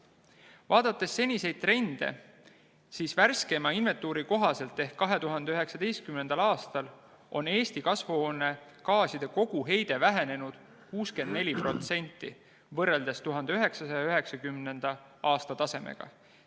Vaadates seniseid trende, siis värskeima ehk 2019. aasta inventuuri kohaselt on Eesti kasvuhoonegaaside koguheide vähenenud 64% võrreldes 1990. aasta tasemega.